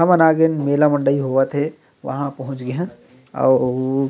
हमन आ गएन मेला मंडल होवत हे वहाँ पहुंच गए हन अउ--